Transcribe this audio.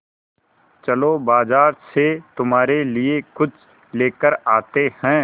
चलो बाज़ार से तुम्हारे लिए कुछ लेकर आते हैं